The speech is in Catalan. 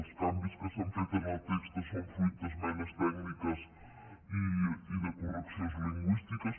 els canvis que s’han fet en el text són fruit d’esmenes tècniques i de correccions lingüístiques